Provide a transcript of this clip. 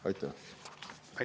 Aitäh!